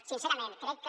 sincerament crec que